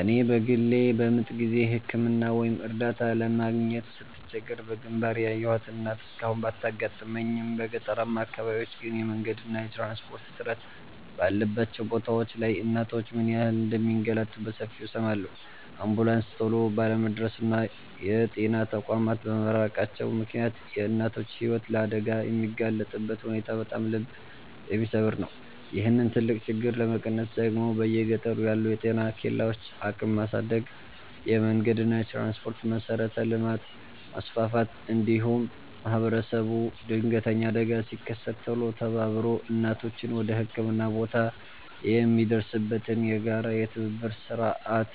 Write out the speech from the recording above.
እኔ በግሌ በምጥ ጊዜ ሕክምና ወይም እርዳታ ለማግኘት ስትቸገር በግንባር ያየኋት እናት እስካሁን ባታጋጥመኝም፣ በገጠራማ አካባቢዎች ግን የመንገድና የትራንስፖርት እጥረት ባለባቸው ቦታዎች ላይ እናቶች ምን ያህል እንደሚንገላቱ በሰፊው እሰማለሁ። አምቡላንስ ቶሎ ባለመድረሱና የጤና ተቋማት በመራቃቸው ምክንያት የእናቶች ሕይወት ለአደጋ የሚጋለጥበት ሁኔታ በጣም ልብ የሚሰብር ነው። ይህንን ትልቅ ችግር ለመቀነስ ደግሞ በየገጠሩ ያሉ የጤና ኬላዎችን አቅም ማሳደግ፣ የመንገድና የትራንስፖርት መሠረተ ልማትን ማስፋፋት፣ እንዲሁም ማኅበረሰቡ ድንገተኛ አደጋ ሲከሰት ቶሎ ተባብሮ እናቶችን ወደ ሕክምና ቦታ የሚያደርስበትን የጋራ የትብብር ሥርዓት